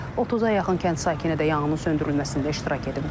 30-a yaxın kənd sakini də yanğının söndürülməsində iştirak edib.